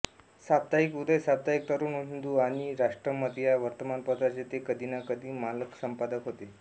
साप्ताहिक उदय साप्ताहिक तरुण हिंदू आणि राष्ट्रमत या वर्तमानपत्रांचे ते कधी ना कधी मालकसंपादक होते